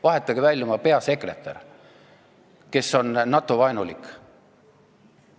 Vahetage välja ka oma peasekretär, kes on NATO-vaenulik.